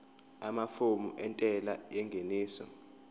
amafomu entela yengeniso